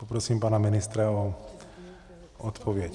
Poprosím pana ministra o odpověď.